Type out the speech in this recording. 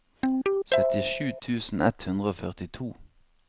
syttisju tusen ett hundre og førtito